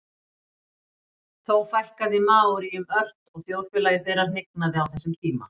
þó fækkaði maóríum ört og þjóðfélagi þeirra hnignaði á þessum tíma